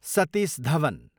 Satish Dhawan